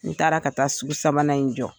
N taara ka taa sugu sabanan in jɔ.